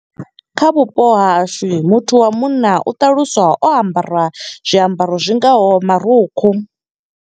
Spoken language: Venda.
Kha vhupo ha hashu muthu wa munna, u ṱaluswa o ambara zwiambaro zwingaho marukhu.